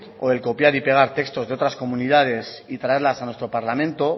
o el copiar y pegar textos de otras comunidades y traerlas a nuestro parlamento